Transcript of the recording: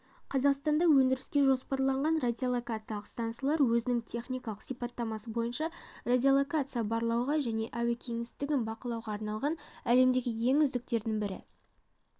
қазақстанда өндіріске жоспарланған радиолокациялық стансалар өзінің техникалық сипаттамасы бойынша радиолокациялық барлауға және әуе кеңістігін бақылауға арналған әлемдегі ең үздіктердің бірі